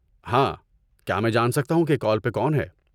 ہاں، کیا میں جان سکتا ہوں کہ کال پہ کون ہے؟